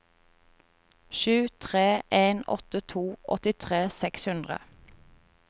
sju tre en to åttitre seks hundre